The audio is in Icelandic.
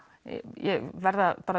ég verð að